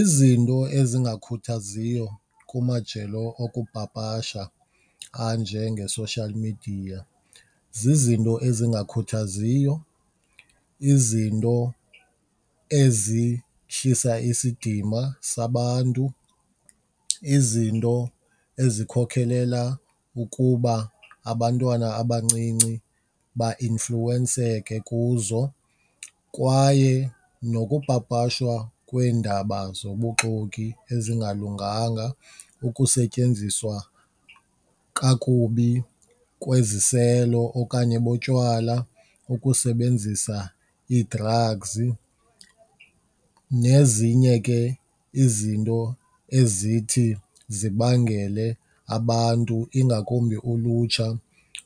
Izinto ezingakhuthaziyo kumajelo okupapasha anjenge-social media zizinto ezingakhuthaziyo, izinto ezihlisa isidima sabantu, izinto ezikhokhelela ukuba abantwana abancinci bainfluwenseke kuzo. Kwaye nokupapashwa kweendaba zobuxoki ezingalunganga, ukusetyenziswa kakubi kweziselo okanye botywala, ukusebenzisa ii-drugs nezinye ke izinto ezithi zibangele abantu ingakumbi ulutsha